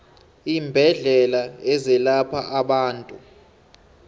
iimbedlela ezelapha abantu